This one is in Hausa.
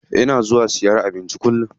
Ina zuwa siyan abinci kullum.